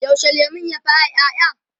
yaushe lemun ya fara ƴaƴa?